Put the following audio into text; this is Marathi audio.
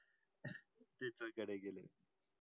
तिसऱ्या कडे गेले